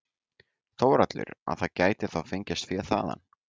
Þórhallur: Að það geti þá fengist fé þaðan?